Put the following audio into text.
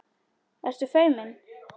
Ertu feimin?